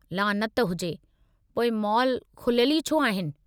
लानत हुजे! पोइ मॉल खुलियलु ई छो आहिनि?